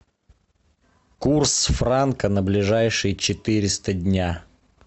курс франка на ближайшие четыреста дня